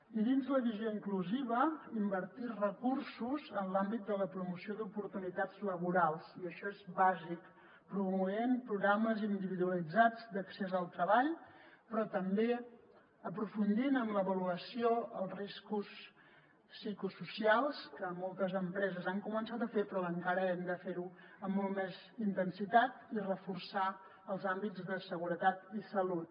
i dins la visió inclusiva invertir recursos en l’àmbit de la promoció d’oportunitats laborals i això és bàsic promovent programes individualitzats d’accés al treball però també aprofundint en l’avaluació els riscos psicosocials que moltes empreses han començat a fer però encara que hem de fer amb molta més intensitat i reforçar els àmbits de seguretat i salut